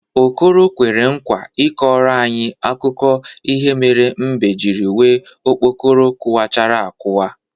Okoro kwere nkwa ịkọrọ anyị akụkọ ihe mere mbe jiri nwee okpokoro kawachara akawa.